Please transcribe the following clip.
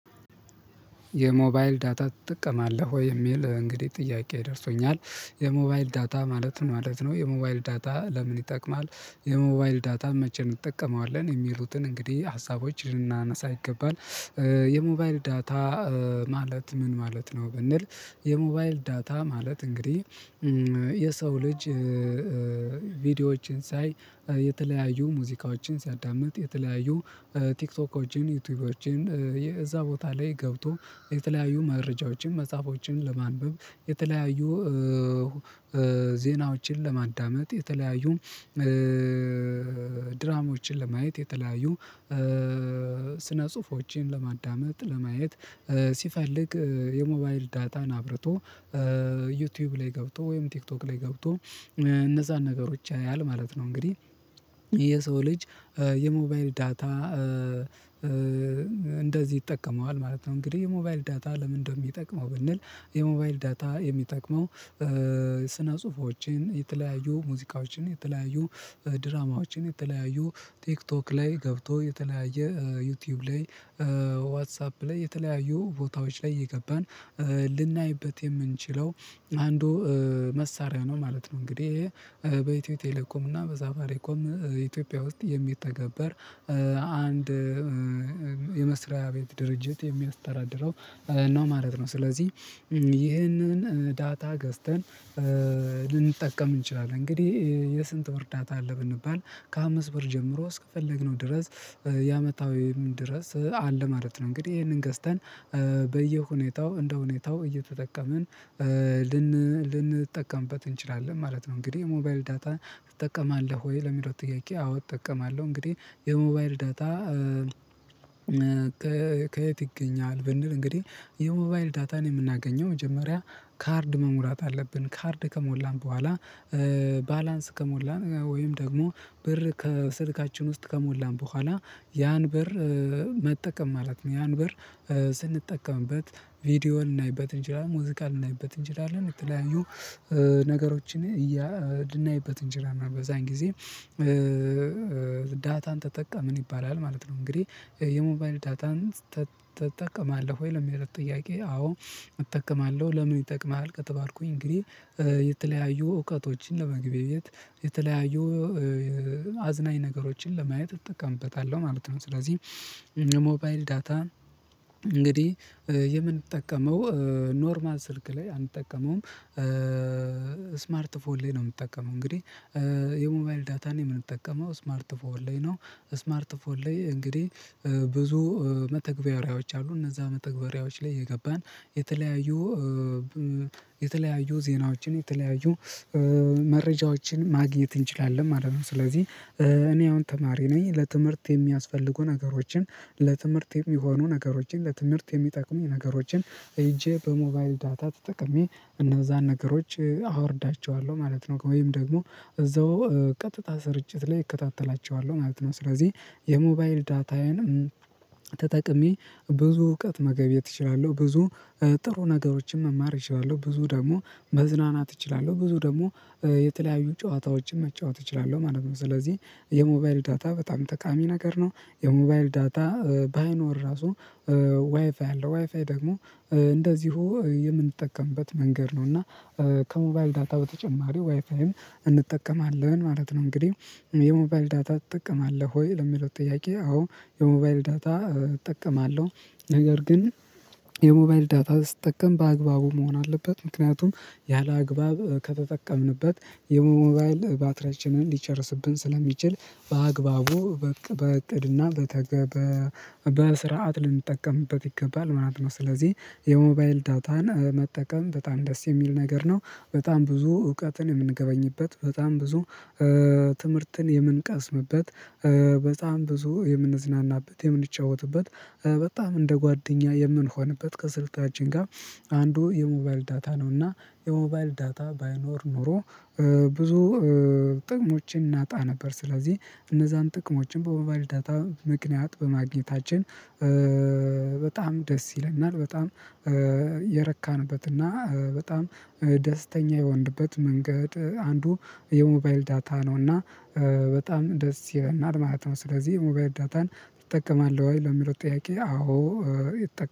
የሞባይል ዳታ ትጠቀማለህ ወይ የሚል እንግዲህ ጥያቄ ደርሶኛል የሞባይል ዳታ ማለት ምን ማለት ነው? የሞባይል ዳታ ለምን ይጠቅማል የሞባይል ዳታ መቼም እንጠቀመዋለን የሚሉትን እንግዲህ ሀሳቦች ልናነሳ ይገባል። የሞባይል ዳታ ማለት ምን ማለት ነው? ብንል። የሞባይል ዳታ ማለት እንግዲህ የሰው ልጅ ቪዲዮዎችን ሳይ የተለያዩ ሙዚቃዎችን ሲያዳምጥ የተለያዩ ቲክቶኮችን ዩቲዩቦችን እዛ ቦታ ላይ ገብቶ የተለያዩ መረጃዎችን መጽሃፎችን ለማንበብ የተለያዩ ዜናዎችን ለማዳመጥ የተለያዩ ድራማዎችን ለማየት የተለያዩ ስነ ጽሁፎችን ለማዳመጥ ለማየት ሲፈልግ የሞባይል ዳታን አብርቶ ዩቲዩብ ላይ ገብቶ ወይም ቲክቶክ ላይ ገብቶ እነዛን ነገሮች ያያል ማለት ነው። እንግዲህ የሰው ልጅ የሞባይል ዳታ እንደዚህ ይጠቀመዋል ማለት ነው። እንግዲህ የሞባይል ዳታ ለምን እንደሚጠቅመው ብንል። የሞባይል ዳታ የሚጠቅመው ስነ ጽሁፎችን የተለያዩ ሙዚቃዎችን የተለያዩ ድራማዎችን የተለያዩ ቲክቶክ ላይ ገብቶ የተለያየ ዩቲዩብ ላይ ዋትሳፕ ላይ የተለያዩ ቦታዎች ላይ የገባን ልናይበት የምንችለው አንዱ መሳሪያ ነው ማለት ነው። እንግዲህ በኢትዮ ቴሌኮም እና በሳፋሪኮም ኢትዮጵያ ውስጥ የሚተገበር አንድ የመስሪያ ቤት ድርጅት የሚያስተዳድረው ነው ማለት ነው። ስለዚህ ይህንን ዳታ ገዝተን ልንጠቀም እንችላለን። እንግዲህ የስንት ወር ዳታ አለ ብንባል? ከአምስት ብር ጀምሮ እስከፈለግነው ድረስ የአመታዊ የምን ድረስ አለ ማለት ነው። እንግዲህ ይሄንን ገዝተን በየሁኔታው እንደሁኔታው እየተጠቀምን ልንጠቀምበት እንችላለን ማለት ነው። እንግዲህ ሞባይል ዳታ ትጠቀማለህ ወይ? ለሚለው ጥያቄ አዎ እጠቀማለሁ። እንግዲህ የሞባይል ዳታ ከየት ይገኛል ብንል። እንግዲህ የሞባይል ዳታን የምናገኘው መጀመሪያ ካርድ መሙላት አለብን። ካርድ ከሞላን በኋላ ባላንስ ከሞላን ወይም ደግሞ ብር ከስልካችን ውስጥ ከሞላን በኋላ ያን በር መጠቀም ማለት ነው። ያን በር ስንጠቀምበት ቪዲዮን ልናይበት እንችላለን። ሙዚቃን ልናይበት እንችላለን የተለያዩ ነገሮችን እያ ልናይበት እንችላለን። እና በዛን ጊዜ ተጠቀምን ይባላል ማለት ነው። እንግዲህ የሞባይን ዳታን ትጠቀማለህ ወይ? ለሚለው ጥያቄ አዎ እጠቅማለው። ለምን ይጠቅማሃል? ከተባልኩኝ እንግዲህ የተለያዩ እውቀቶችን ለመገበያየት የተለያዩ አዝናኝ ነገሮችን ለማየት እጠቀምበታለው ማለት ነው። ስለዚህ የሞባይል ዳታ እንግዲህ የምንጠቀመው ኖርማል ስልክ ላይ አንጠቀመውም። ስማርት ፎን ላይ ነው የምጠቀመው እንግዲህ። የሞባይል ዳታን የምንጠቀመው ስማርት ፎን ላይ ነው። ስማርት ፎን ላይ እንግዲህ ብዙ መተግበሪያዎች አሉ እነዛ መተግበሪያዎች ላይ የገባን የተለያዩ የተለያዩ ዜናዎችን የተለያዩ መረጃዎችን ማግኘት እንችላለን ማለት ነው። ስለዚህ እኔ አሁን ተማሪ ነኝ። ለትምህርት የሚያስፈልጉ ነገሮችን ለትምህርት የሚሆኑ ነገሮችን ለትምህርት የሚጠቅሙኝ ነገሮችን ሄጄ በሞባይል ዳታ ተጥቅሜ እነዛን ነገሮች አወርዳቸዋለው ማለት ነው። ወይም ደግሞ እዛው ቀጥታ ስርጭት ላይ እከታተላቸዋለሁ ማለት ነው። ስለዚህ የሞባይል ዳታዬንም ተጠቅሜ ብዙ እውቀት መገብየት እችላለው። ብዙ ጥሩ ነገሮችን መማር እችላለሁ ብዙ ደግሞ መዝናናት እችላለው ብዙ ደግሞ የተለያዩ ጨዋታዎችን መጫወት እችላለው ማለት ነው። ስለዚህ የሞባይል ዳታ በጣም ጠቃሚ ነገር ነው። የሞባይል ዳታ ባይኖር ራሱ ዋይፋይ አለ ዋይፋይ ደግሞ እንደዚሁ የምንጠቀምበት መንገድ ነው። እና ከሞባይል ዳታ በተጨማሪ ዋይፋይም እንጠቀማለን ማለት ነው። እንግዲህ የሞባይል ዳታ ትጠቀማለህ ወይ? ለሚለው ጥያቄ አዎ የሞባይል ዳታ እጠቀማለው። ነገር ግን የሞባይል ዳታ ስትጠቀም በአግባቡ መሆን አለበት ምክንያቱም ያላግባብ ከተጠቀምንበት የሞባይል ባትርያቻንን ሊጨርስብን ስለሚችል በአግባቡ በዕቅድና በስርዓት ልንጠቀምበት ይገባል ማለት ነው። ስለዚህ የሞባይል ዳታን መጠቀም በጣም ደስ የሚል ነገር ነው። በጣም ብዙ እውቀትን የምንገበኝበት በጣም ብዙ ትምህርትን የምንቀስምበት በጣም ብዙ የምንዝናናበት የምንጫወትበት በጣም እንደ ጓደኛ የምንሆንበት ከስልካችን ጋር አንዱ የሞባይል ዳታ ነው። እና የሞባይል ዳታ ባይኖር ኖሮ ብዙ ጥቅሞችን እናጣ ነበር። ስለዚህ እነዛን ጥቅሞችን በሞባይል ዳታ ምክንያት በማግኘታችን በጣም ደስ ይለናል። በጣም የረካንበትና በጣም ደስተኛ የሆንበት መንገድ አንዱ የሞባይል ዳታ ነው። እና በጣም ደስ ይለናል ማለት ነው። ስለዚህ የሞባይል ዳታን ትጠቀማለህ ወይ? ለሚለው ጥያቄ አዎ